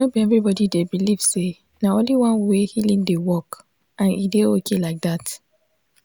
no be everybody dey believe say na only one way healing dey work and e dey okay like that.